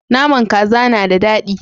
Nama kaza na da dadi